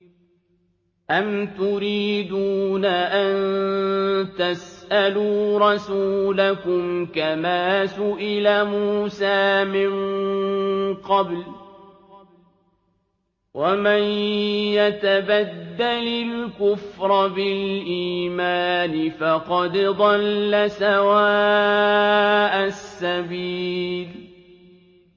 أَمْ تُرِيدُونَ أَن تَسْأَلُوا رَسُولَكُمْ كَمَا سُئِلَ مُوسَىٰ مِن قَبْلُ ۗ وَمَن يَتَبَدَّلِ الْكُفْرَ بِالْإِيمَانِ فَقَدْ ضَلَّ سَوَاءَ السَّبِيلِ